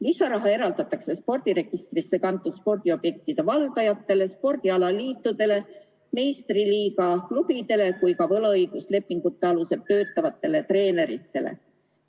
Lisaraha eraldatakse nii spordiregistrisse kantud spordiobjektide valdajatele, spordialaliitudele, meistriliiga klubidele kui ka võlaõiguslike lepingute alusel töötavatele treeneritele.